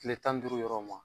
kile tan ni duuru yɔrɔ ma.